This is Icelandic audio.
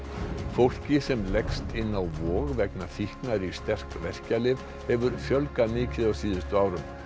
fólki sem leggst inn á Vog vegna fíknar í sterk verkjalyf hefur fjölgað mikið á síðustu árum